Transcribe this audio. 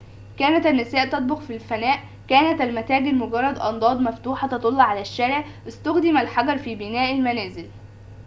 كانت النساء تطبخ في الفناء كانت المتاجر مجرد أنضاد مفتوحة تطل على الشارع استُخدم الحجر في بناء المنازل